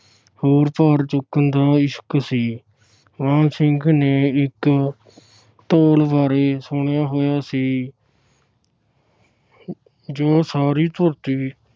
ਹੋਰ ਭਾਰ ਚੁੱਕਣ ਦਾ ਇਸ਼ੁਕ ਸੀ। ਮਾਣ ਸਿੰਘ ਨੇ ਇਕ ਧੌਲ ਬਾਰੇ ਸੁਣਿਆ ਹੋਇਆ ਸੀ ਜੋ ਸਾਰੀ ਧਰਤੀ